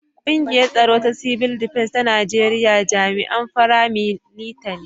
Kungiyar Tsaro ta Cibil Defens ta Najeriya jami'an fara milita ne.